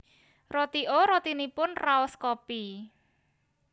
Roti O rotinipun raos kopi